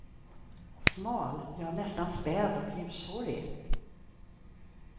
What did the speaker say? Smal, ja nästan späd och ljushårig.